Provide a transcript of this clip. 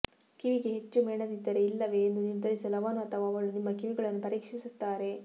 ಕಿವಿಗೆ ಹೆಚ್ಚು ಮೇಣದಿದ್ದರೆ ಇಲ್ಲವೇ ಎಂದು ನಿರ್ಧರಿಸಲು ಅವನು ಅಥವಾ ಅವಳು ನಿಮ್ಮ ಕಿವಿಗಳನ್ನು ಪರೀಕ್ಷಿಸುತ್ತಾರೆ